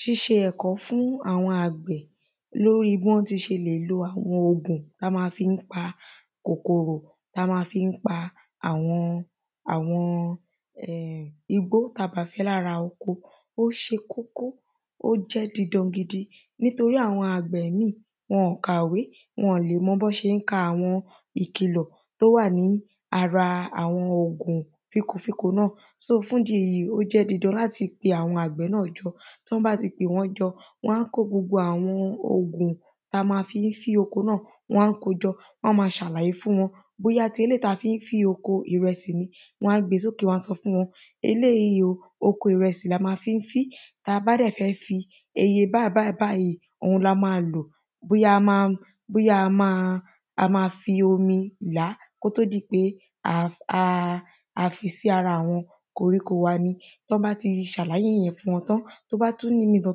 Ṣíṣe ẹ̀kọ́ fún àwọn àgbẹ̀ lórí bí wọ́n ti ṣe lè lo àwọn ògùn tí wọ́n má fí ń pa kòkòrò tán má fí ń pa àwọn àwọn um igbó tá bá fẹ́ lára oko ó ṣe kókó ó jẹ́ didan gidi nítorí àwọn àgbẹ̀ mí wọn kàwé wọn mọ bí wọ́n ṣé ń ka àwọn ìkìlọ̀ tó wà ní ara àwọn òògùn fínko fínko náà só fúndi èyí ó jẹ́ didan láti pe àwọn àgbẹ̀ jọ tí wọ́n bá ti pè wọ́n jọ wọ́n á kó gbogbo àwọn òògùn tá má fi ń fín oko náà wọ́n á kó jọ wọ́n má ṣàlàyé fún wọn bóyá eléèyí tá fi ń fín oko ìrẹsì ni wọ́n á gbé sókè wọ́n á sọ fún wọn eléèyí o oko ìrẹsì la má fi ń fín tá bá dẹ̀ fẹ́ fín iye báyìí báyìí báyìí dẹ̀ la má lò bóyá a má bóyá a má fi omi làá kó tó di pé a a fi sí ara àwọn koríko wa ni tán bá ti ṣàlàyé ìyẹn fún wọn tán tó bá tún ní ìmí tán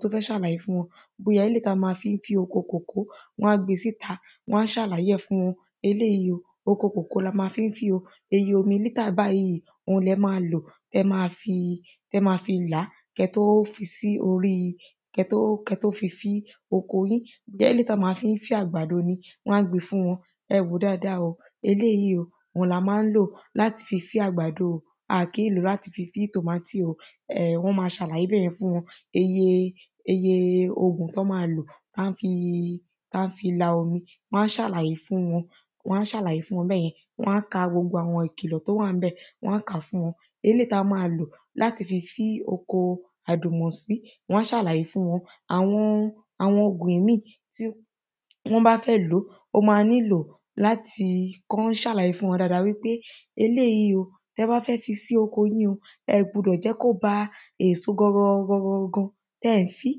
tún fẹ́ ṣàlàyé fún wọn bóyá eléèyí tí wọ́n má fí ń fín oko kòkó wọ́n á gbé síta wọ́n á ṣàlàyé ẹ̀ fún wọn eléèyí o oko kòkó la má fi ń fín o iye omi lítà báyìí ohun lẹ má lò tẹ́ má fi làá ké tó fín ké tó fín sí orí kẹ́ tó kẹ́ tó fi fín oko yín bóyá eléèyí tán má fi ń fín àgbàdo ni wọ́n á gbé fún wọn ẹ wòó dáada o eléèyí la má ń lò láti fi fín àgbàdo o a kí ń lòó láti fi fín tòmátì o wọ́n má ṣàlàyé bẹ́yẹn fún wọn iye iye iye òògùn tán má lò tán á fi tán á fi la omi wọ́n á ṣàlàyé fún wọn wọ́n á ṣàlàyé fún wọn bẹ́yẹn wọ́n á ka gbogbo ìkìlọ̀ tó bá wà ńbẹ̀ wọ́n á kàá fún wọn eléèyí tán má lò láti fi fín oko àdùnmọ̀sí wọ́n á ṣàlàyé fún wọn àwọn àwọn ọ̀gbìn míì. Tí wọ́n bá fẹ́ lòó ó má nílò láti kí wọ́n ṣàlàyé fún wọn dáada wípé eléèyí o tẹ́ bá fẹ́ fín sí oko yín o ẹ gbudọ jẹ́ kó ba èso gangan gangan tẹ́ ń fín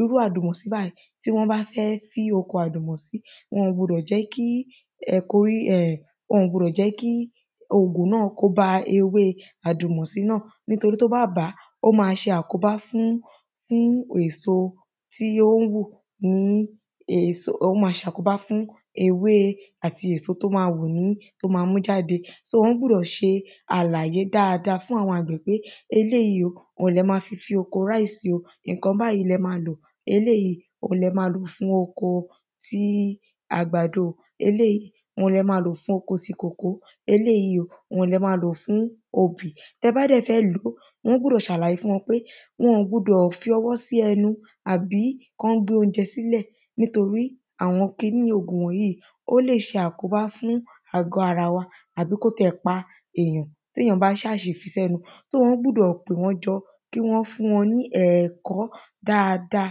irú àdùmọ̀sí báyìí tí wọ́n bá fẹ́ fín oko àdùmọ̀sí wọn gbudọ̀ jẹ́ kí ẹ kó wọn gbudọ̀ jẹ́ kí òògùn náà kó ba ewé àdùmọ̀sí náà nítorí tó bá bàá ó má ṣe àkóbá fún fún èso tí yóò hù ní èso ó má ṣàkóbá fún ewé àti èso tó má hù ní tó má mú jáde so wọ́n gbúdọ̀ ṣe àlàyé dáada fún àwọn àgbẹ̀ pé eléèyí o ohun lẹ má fi fín oko ráìsì nǹkan báyìí lẹ má lo eléèyí le má fi fín oko ti àgbàdo eléèyí òhun lẹ má lò fún oko ti kòkó eléèyí o òhun lẹ má lò fún obì tẹ́ bá dẹ̀ fẹ́ lòó wọ́n gbúdọ̀ ṣàlàyé fún wọn pé wọn gbudọ̀ fi ọwọ́ sí ẹnu kán gbé óúnjẹ sílẹ̀ nítorí àwọn kiní òògùn wọ̀nyìí ó lè ṣe àkóbá fún àgọ́ ara wa àbí kó ti ẹ̀ pa èyàn téyàn bá ṣá ṣe fi sẹ́nu só wọ́n gbúdọ̀ pè wọ́n jọ kí wọ́n fún wọn ní ẹ̀kọ́ dáada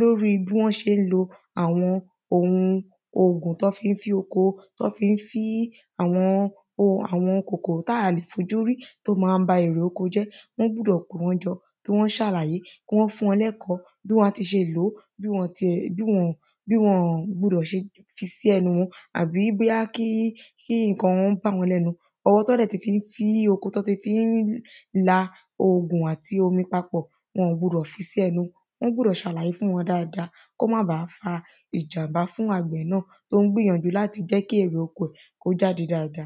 lórí bí wọ́n ṣé ń lo àwọn ohun òògùn tán fí ń fín oko tán fí ń fín àwọn ohun àwọn kòkòrò tá lè fojúrí tó má ń ba àwọn erè oko jẹ́ wọ́n gbúdọ̀ pè wọ́n jọ kí wọ́n ṣàlàyé kí wọ́n fún wọn lẹ́kọ̀ọ́ bí wọ́n á ti ṣe lòó bí wọn ti bí wọn ti ṣe gbudọ̀ fi sí ẹnu wọn àbí bóyá kí kí nǹkan bá wọ́n lẹ́nu ọwọ́ tán bá dẹ̀ fi fín oko tán ti fi ń la òògùn àti omi papọ̀ wọn ò gbudọ̀ fi sẹ́nu wọ́n gbúdọ̀ ṣàlàyé fún wọn dáada kó má ba fa ìjàḿbà fún àgbẹ̀ náà tó ń gbìyànjú láti jẹ́ kí èrè oko rẹ̀ láti jáde dáada.